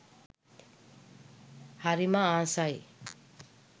හරිම ආසයි.